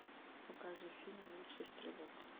покажи фильм лучший стрелок